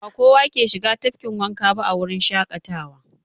Ba kowa ke shiga tafkin wanka ba a wurin shaƙatawa.